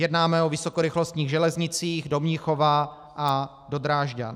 Jednáme o vysokorychlostních železnicích do Mnichova a do Drážďan.